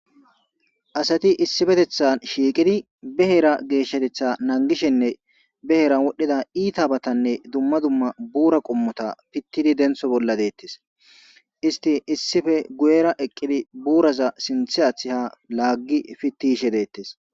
Asati issippeteththan shiiqidi ba heera geeshatetha nangishenne ba heeran wodhdhida iitabatanne dumma dumma buura qommota pittidi denththo bolla deetessi.